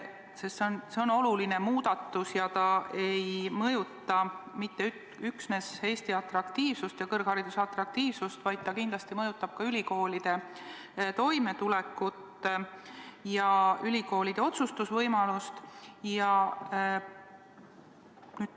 See on oluline muudatus ja see ei mõjuta mitte üksnes Eesti ja kõrghariduse atraktiivsust, vaid see mõjutab kindlasti ka ülikoolide toimetulekut ja otsustusvõimalust.